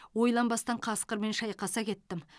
ойланбастан қасқырмен шайқаса кеттім